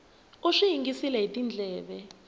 u swi yingisile hi tindleve